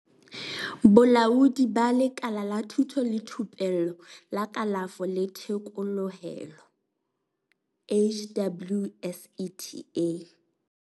Bolaodi ba Lekala la Thuto le Thupello la Kalafo le Thekolohelo, HWSETA.